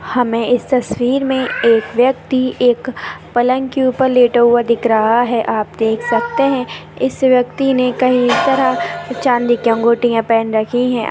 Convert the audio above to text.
हमें इस तस्वीर में एक व्यक्ति एक पलंग के ऊपर लेटा हुआ दिख रहा है आप देख सकते है इस व्यक्ति ने कहीं तरह की चांदी की अंगुठिया पहन रखी है।